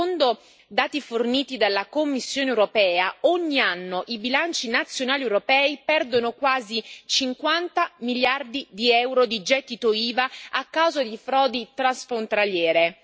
Secondo dati forniti dalla Commissione europea, ogni anno i bilanci nazionali europei perdono quasi 50 miliardi di euro di gettito IVA a causa di frodi transfrontaliere.